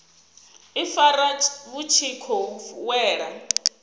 ifara vhu tshi khou wela